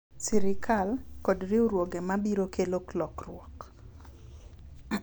Sirkal, kod riwruoge ma biro kelo lokruok.